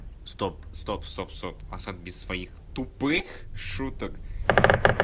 стоп стоп стоп стоп осак без своих тупых шуток